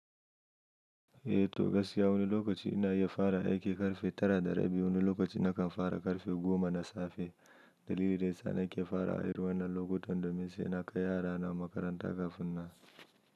Eh to gaskiya wani lokaci ina iya fara aiki karfe tara da rabi, wani lokaci na kan fara karfe goma na safe. Dalili dai sa na ke fara aiki wannan lokutan domin sai na kai yarana makaranta kafin nan.